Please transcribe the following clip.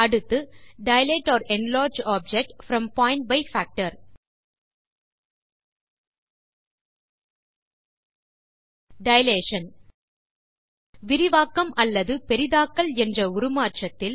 அடுத்து dilate or enlarge object from point by factor dilation விரிவாக்கம் அல்லது பெரிதாக்கல் என்ற உருமாற்றத்தில்